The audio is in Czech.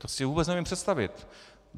To si vůbec neumím představit!